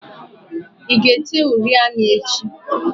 I ga-ete uri anya echi?